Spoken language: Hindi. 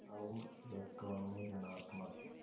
और इलेक्ट्रॉन में ॠणात्मक